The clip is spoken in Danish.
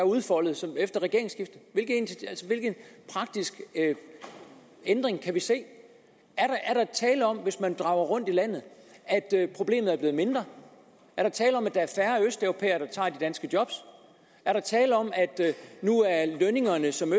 udfoldet efter regeringsskiftet hvilke praktiske ændringer kan vi se er der tale om at hvis man drager rundt i landet at problemet er blevet mindre er der tale om at der er færre østeuropæere der tager de danske job er der tale om at nu er lønningerne som